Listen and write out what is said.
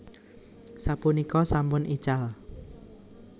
Sapunika sampun ical